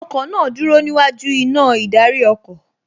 Ọkọ̀ náà dúró níwájú iná ìdarí ọkọ̀